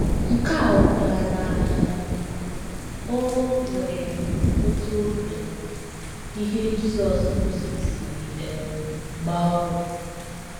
Nke a ọ̀ pụtara na um o nwere otú um ihe Jizọs kụziri si um gbaa ọrụ?